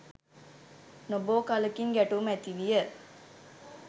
නොබෝ කලකින් ගැටුම් ඇතිවිය.